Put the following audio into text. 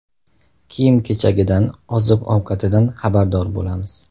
Kiyim-kechagidan, oziq-ovqatidan xabardor bo‘lamiz.